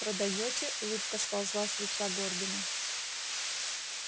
продаёте улыбка сползла с лица горбина